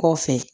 Kɔfɛ